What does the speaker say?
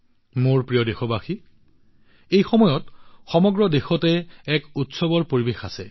মোৰ মৰমৰ দেশবাসীসকল এই সময়ত সমগ্ৰ দেশতে এক উৎসৱৰ পৰিৱেশৰ সৃষ্টি হৈছে